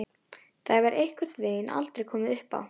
Það hefur einhvern veginn aldrei komið uppá.